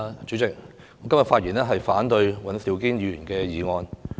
主席，我發言反對尹兆堅議員的議案。